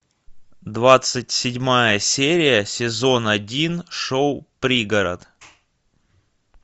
двадцать седьмая серия сезон один шоу пригород